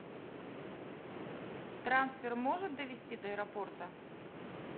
трансфер может довезти до аэропорта